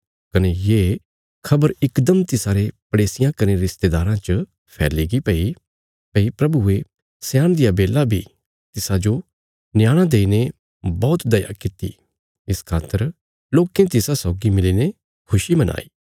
कने ये खबर इकदम तिसारे पड़ेसियां कने रिस्तेदाराँ च फैलीगी भई प्रभुये स्याणदिया बेला बी तिसाजो न्याणा देईने बौहत दया किति इस खातर लोकें तिसा सौगी मिलीने खुशी मनाई